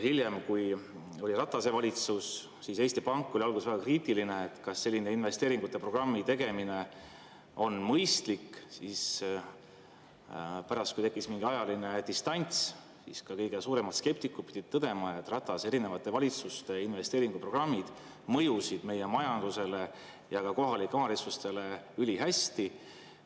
Hiljem, kui oli Ratase valitsus, siis Eesti Pank oli alguses väga kriitiline, et kas selline investeeringute programmi tegemine on mõistlik, aga pärast, kui tekkis mingi ajaline distants, siis ka kõige suuremad skeptikud pidid tõdema, et Ratase erinevate valitsuste investeeringuprogrammid mõjusid meie majandusele ja ka kohalikele omavalitsustele ülihästi.